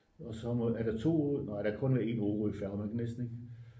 og så er der to nej der er kun en orøfærge